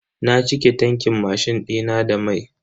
Na cike tankin mashin dina da mai.